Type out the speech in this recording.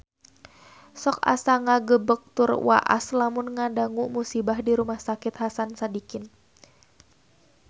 Sok asa ngagebeg tur waas lamun ngadangu musibah di Rumah Sakit Hasan Sadikin